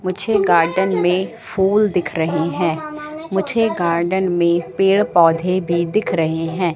मुझे गार्डन में फूल दिख रहे हैं मुझे गार्डन में पेड़ पौधे भी दिख रहे हैं।